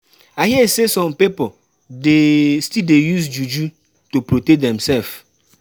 I hear sey some pipo still dey use juju to protect demsef.